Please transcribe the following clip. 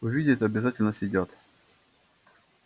увидят обязательно съедят